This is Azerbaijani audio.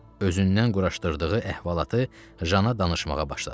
Özündən quraşdırdığı əhvalatı Jana danışmağa başladı.